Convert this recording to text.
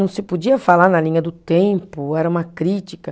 Não se podia falar na linha do tempo, era uma crítica.